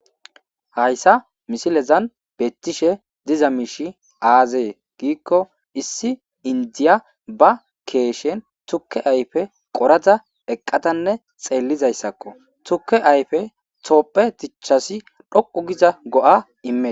hayssa misilezan beettishe diza miishi aazee giikko issi indiya ba keeshen tuke ayfe qorada eqqatanne xeellizayssakko tuke ayfe toopphe tichasi dhoqu giza go7a immee